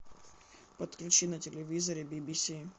подключи на телевизоре би би си